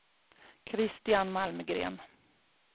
Kristian Malmgren